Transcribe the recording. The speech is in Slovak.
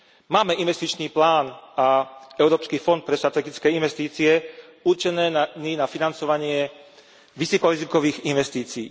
Máme Investičný plán a Európsky fond pre strategické investície určený na financovanie vysokorizikových investícií.